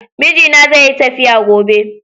Mijina zeyi tafiya gobe.